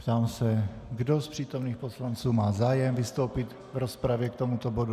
Ptám se, kdo z přítomných poslanců má zájem vystoupit v rozpravě k tomuto bodu.